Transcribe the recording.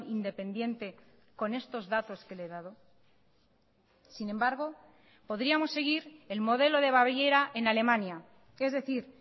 independiente con estos datos que le he dado sin embargo podríamos seguir el modelo de baviera en alemania es decir